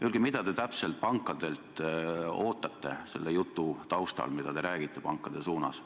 Öelge, mida te pankadelt selle jutu taustal, mida te nende suunas räägite, täpselt ootate.